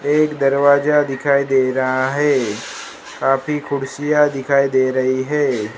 एक दरवाजा दिखाई दे रहा है काफी कुर्सियां दिखाई दे रही है।